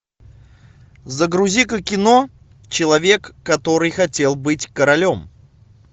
загрузи ка кино человек который хотел быть королем